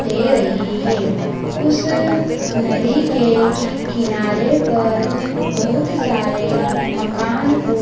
दे रही है उस नदी के किनारे पर बहुत सारे मकान ओ--